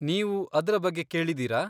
ನೀನ್ ಅದ್ರ ಬಗ್ಗೆ ಕೇಳಿದೀರಾ?